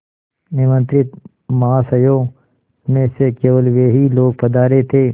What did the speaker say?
निमंत्रित महाशयों में से केवल वे ही लोग पधारे थे